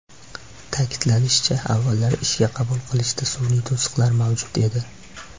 Ta’kidlanishicha, avvallari ishga qabul qilishda sun’iy to‘siqlar mavjud edi.